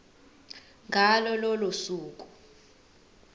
ngalo lolo suku